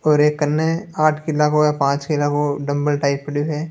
और एक कने आठ किला को या पाँच किला को डंबल टाइप पड़ियो है।